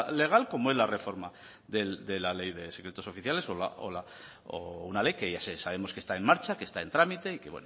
legal como es la reforma de la ley de secretos oficiales o una ley que ya sabemos que está en marcha que está en trámite y que